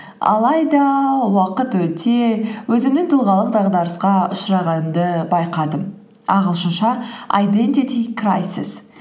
алайда уақыт өте өзімнің тұлғалық дағдарысқа ұшырағанымды байқадым ағылшынша айдентити крайсес